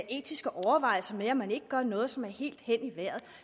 er etiske overvejelser med og at man ikke gør noget som er helt hen i vejret